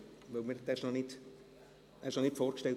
Dieser Antrag wurde noch nicht vorgestellt.